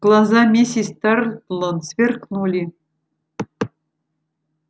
глаза миссис тарлтон сверкнули